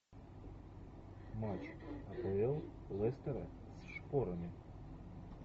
матч апл лестера с шпорами